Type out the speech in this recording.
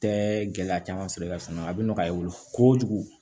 Tɛ gɛlɛya caman sɔrɔ i ka so kɔnɔ a bɛ nɔgɔya i bolo kojugu